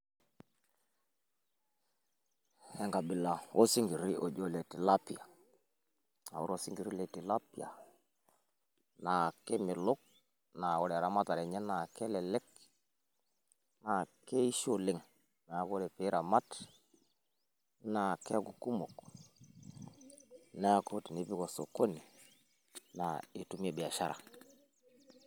Enkabila oosinkiri oji ole tilapia aaore oosinkiri oji ole tilapia naa kemelok naa ore eramatare enye naa kelelek, naa keishio oleng ore pee iramat naa keeku kumok neeku tinipik osokoni naa itumie biashara.